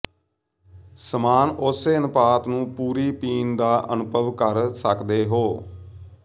ਸਮਾਨ ਉਸੇ ਅਨੁਪਾਤ ਨੂੰ ਪੂਰੀ ਪੀਣ ਦਾ ਅਨੁਭਵ ਕਰ ਸਕਦੇ ਹੋ